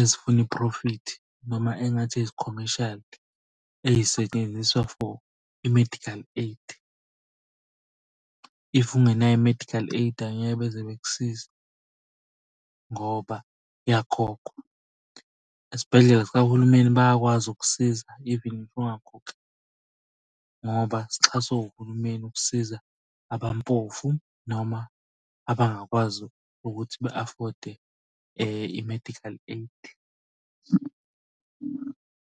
ezifuna iphrofithi noma engathi ezi-comercial ey'setshenziswa for i-medical aid, if ungenayo i-medical aid angeke beze bekusize ngoba kuyakhokhwa. Esibhedlela sikahulumeni bayakwazi ukukusiza even ngoba sixhaswe uhulumeni ukusiza abampofu noma abangakwazi ukuthi be-afode i-medical aid.